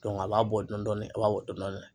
a b'a bɔ dɔɔnin dɔɔnin a b'a bɔ dɔɔnin dɔɔnin.